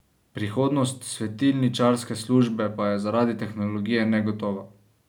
Prihodnost svetilničarske službe pa je zaradi tehnologije negotova.